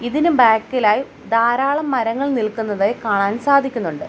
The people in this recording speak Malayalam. ഇതിന് ബാക്ക് ഇലായി ധാരാളം മരങ്ങൾ നിൽക്കുന്നതായി കാണാൻ സാധിക്കുന്നുണ്ട്.